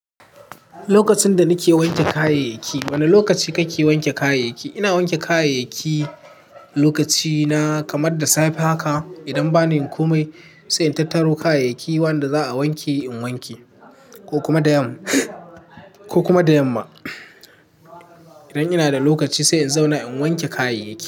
Lokacin da nake wanke kayayyaki. Wane lokaci kake wanke kayayyaki? Ina wanke kayayyaki lokaci na kamar da safe haka. Idan bani komai sai in tattaro kayayyaki wanda za'a wanke in wanke ko kuma da yamma, ko kuma da yamma. Idan ina da lokaci sai in zauna in wanke kayayyaki.